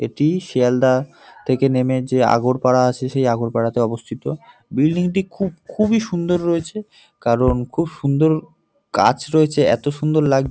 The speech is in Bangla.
এটি শেয়ালদা থেকে নেমে যে আগরপারা আছে সেই আগরপারাতে অবস্থিত। বিল্ডিংটি খুব খুবই সুন্দর রয়েছে কারণ খুব সুন্দর কাচ রয়েছে এত সুন্দর লাগ--